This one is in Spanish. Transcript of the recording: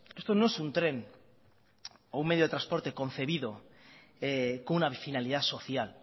esto no es un tren o un medio de transporte concebido con una finalidad social